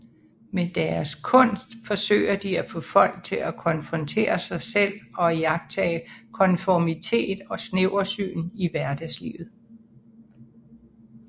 Med deres kunst forsøger de at få folk til at konfrontere sig selv og iagttage konformitet og snæversyn i hverdagslivet